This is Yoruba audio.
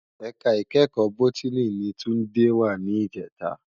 Èká ikèékò bótìní ni Tunde wá nijètá